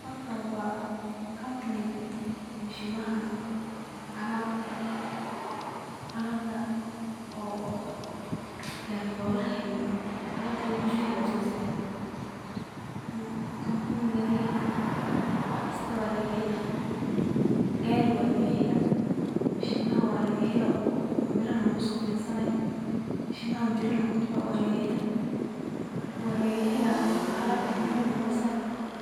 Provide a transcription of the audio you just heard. Halkan wa kambunigi alabta gariyolaha iyo guriga lugudisayo kambugani wax kasta walagaheli gari iyo mishinaha iyo kuwa lugudiso walagela